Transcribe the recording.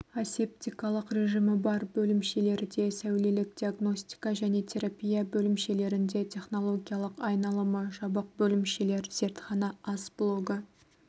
асептикалық режимі бар бөлімшелерде сәулелік диагностика және терапия бөлімшелерінде технологиялық айналымы жабық бөлімшелер зертхана ас блогы